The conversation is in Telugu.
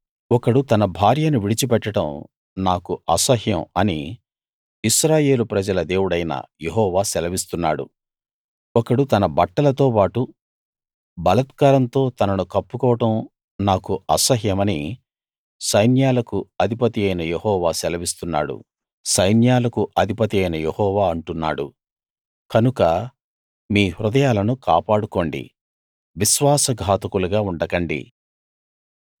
ఒకడు తన భార్యను విడిచి పెట్టడం నాకు అసహ్యం అని ఇశ్రాయేలు ప్రజల దేవుడైన యెహోవా సెలవిస్తున్నాడు ఒకడు తన బట్టలతో బాటు బలాత్కారంతో తనను కప్పుకోవడం నాకు అసహ్యమని సైన్యాలకు అధిపతియైన యెహోవా అంటున్నాడు కనుక మీ హృదయాలను కాపాడుకోండి విశ్వాస ఘాతకులుగా ఉండకండి